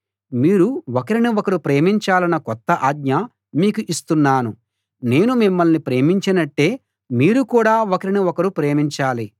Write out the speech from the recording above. మీరు ఒకరిని ఒకరు ప్రేమించాలన్న కొత్త ఆజ్ఞ మీకు ఇస్తున్నాను నేను మిమ్మల్ని ప్రేమించినట్టే మీరు కూడా ఒకరిని ఒకరు ప్రేమించాలి